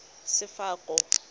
sefako